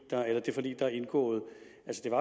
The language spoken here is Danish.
der er indgået